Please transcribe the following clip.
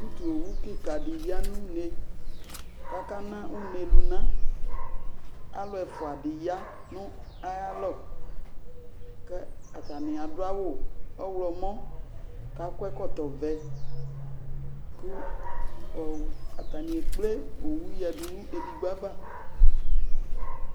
Utuowu kɩka dɩ ya nʋ une, kʋ akana une lʋna, alʋ ɛfʋa dɩ ya nʋ ayʋ alɔ, kʋ atanɩ adʋ awʋ ɔɣlɔmɔ, kʋ akɔ ɛkɔtɔ ɔvɛ, kʋ atanɩ ekple owu yǝdu nʋ edigbo ava